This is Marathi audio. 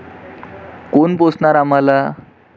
कोण पोसणार आम्हाला?